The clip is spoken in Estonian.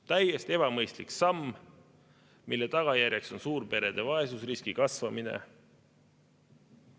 Täiesti ebamõistlik samm, mille tagajärjeks on suurperede vaesusriski kasvamine.